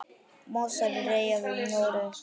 Mostur er eyja við Noreg.